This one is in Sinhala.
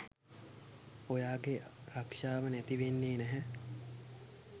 ඔයාගේ රක්ෂාව නැතිවෙන්නේ නැහැ